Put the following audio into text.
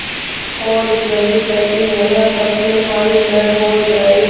और जब तक यह प्रश्न हल न हो जाय